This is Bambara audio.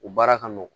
U baara ka nɔgɔn